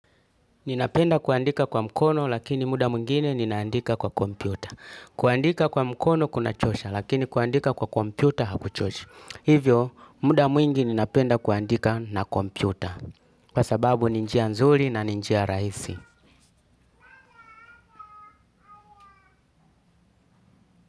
Ninapenda kuandika kwa mkono lakini muda mwingine ninaandika kwa kompyuta. Kuandika kwa mkono kuna chosha lakini kuandika kwa kompyuta hakuchoshi. Hivyo muda mwingi ninapenda kuandika na kompyuta. Kwa sababu ni njia nzuri na ni njia rahisi.